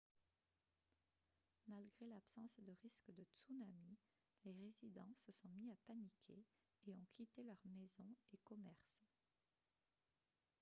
malgré l'absence de risque de tsunami les résidents se sont mis à paniquer et ont quitté leurs maisons et commerces